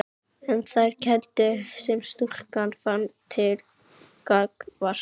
En þær kenndir sem stúlkan fann til gagnvart